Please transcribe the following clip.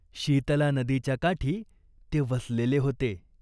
शीतला नदीच्या काठी ते वसलेले होते.